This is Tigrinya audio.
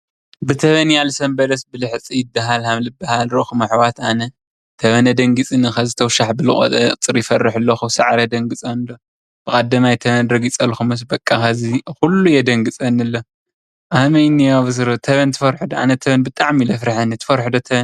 ብተመንያ ዝሰንበደ ብልሕፂ ይድሃል ክምዝባሃል ረእኩምዎ ኣሕዋት ኣነ ተመን ኣድንጊፅኒ ሕዚ ተውሻሕ ብዝበለ ቁፅሪ ይፈርሕ ኣሎኩ። ሳዕሪ የድንግፀኒ ኣሎ ብቀዳማይ ተመን ረግፀልኩሙስ በቓ ሕዚ ኩሉ የድንግፀኒ ኣሎ ከመይ እንህ ሕዚ ቡሱሩ ተመን ኣነ ብጣዓሚ እዩ ዝፍርሐኒ። ተመን ትፈርሑ ዶ?